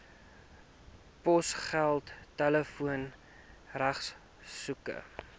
posgeld telefoon regskoste